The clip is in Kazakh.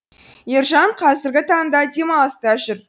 ержан қазіргі таңда демалыста жүр